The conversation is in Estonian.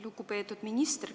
Lugupeetud minister!